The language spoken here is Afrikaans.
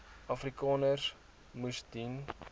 afrikaners moes sien